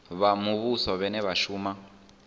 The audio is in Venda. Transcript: vha muvhuso vhane vha shuma